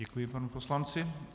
Děkuji panu poslanci.